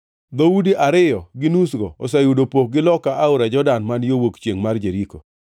Dhoudi ariyo gi nusgo oseyudo pokgi loka Aora Jordan man yo wuok chiengʼ mar Jeriko.”